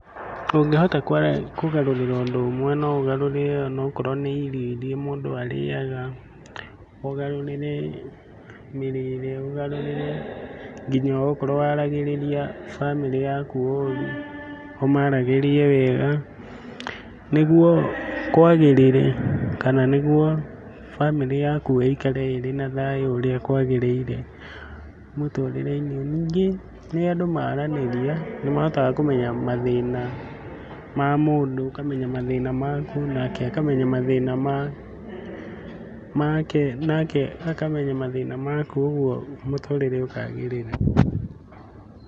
Ũngĩhota kũgarũrĩra ũndũ ũmwe no ũgarũrĩre onokorwo nĩ irio iria mũndũ arĩaga, ũgarũrĩre mĩrĩre, ũgarũrĩre nginya okorwo waragĩrĩria bamĩrĩ yaku ũru, ũmaragĩrie wega nĩguo kwagĩrĩre kana nĩguo bamĩrĩ yaku ĩikare ĩrĩ na thayũ ũrĩa kwagĩrĩire mũtũrĩre-inĩ. Ningĩ rĩrĩa andũ maranĩria nĩ mahotaga kũmenya mathĩna ma mũndũ, ũkamenya mathĩna maku nake akamenya mathĩna make, nake akamenya mathĩna maku, ũguo mũtũrĩre ũkagĩrĩra.